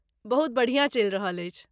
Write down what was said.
बहुत बढ़िआँ चलि रहल अछि।